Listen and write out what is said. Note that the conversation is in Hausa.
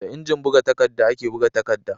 Da injin buga takadda ake buga takadda